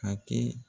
A kɛ